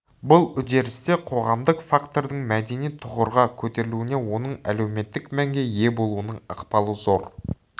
бұл үдерісте қоғамдық фактордың мәдени тұғырға көтерілуіне оның әлеуметтік мәнге ие болуының ықпалы зор